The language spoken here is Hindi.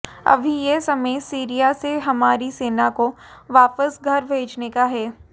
अभी यह समय सीरिया से हमारी सेना को वापस घर भेजने का है